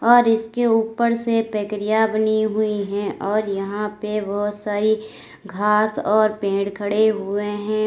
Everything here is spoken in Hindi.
और इसके ऊपर से प्रक्रिया बनी हुई है और यहां पे बहुत सारी घास और पेड़ खड़े हुए हैं।